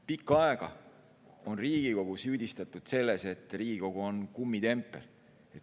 Pikka aega on Riigikogu süüdistatud selles, et Riigikogu on kummitempel.